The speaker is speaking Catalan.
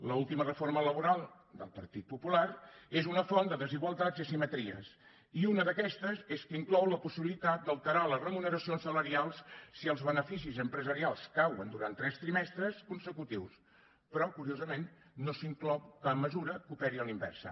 l’última reforma laboral del partit popular és una font de desigualtats i asimetries i una d’aquestes és que inclou la possibilitat d’alterar les remuneracions salarials si els beneficis empresarials cauen durant tres trimestres consecutius però curiosament no s’inclou cap mesura que operi a la inversa